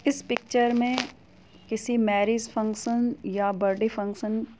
इस पिक्चर में किसी मैरेज फंक्शन या बर्थडे फंक्शन --